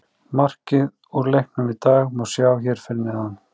Markið úr leiknum í dag má sjá hér að neðan